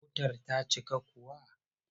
Motar ta cika kuwa?